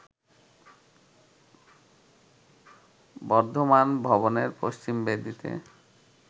বর্ধমান ভবনের পশ্চিম বেদিতে